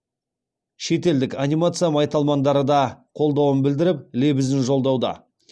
шетелдік анимация майталмандары да қолдауын білдіріп лебізін жолдауда